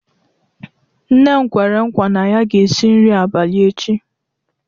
Nne m kwere nkwa na ya ga-esi nri abalị echi.